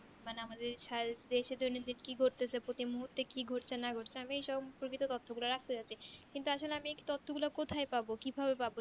মানে আমাদের দেশে দৈনন্দিন কি ঘটতেছে প্রতি মুহূর্তে কি ঘটছে না ঘটছে আমি সম্পর্কিত তথ্য গুলো রাখতে চাইছি কিন্তু আসলে আমি তথ্য গুলো কোথায় পাবো কি ভাবে পাবো